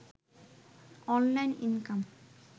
online income